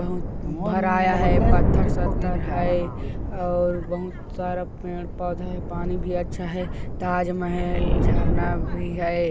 बहुत भरा या हैं पत्थर सतथर हैं और बहूत सारा पेड़-पौधा हैं पानी भी अच्छा हैं ताजमहल झरना भी हैं।